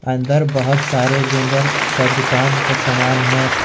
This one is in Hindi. अंदर बहोत सारे जनरल का दुकान का सामान है।